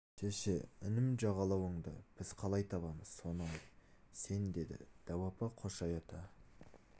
шеше інім жағалауынды біз қалай табамыз соны айт сен деді дәу апа қошай ата